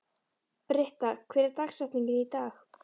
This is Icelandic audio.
Britta, hver er dagsetningin í dag?